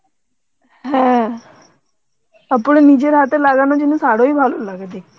হ্যাঁ তারপরে নিজের হাতে লাগানো জিনিস আরো ভালো লাগে দেখতে